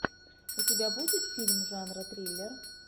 у тебя будет фильм жанра триллер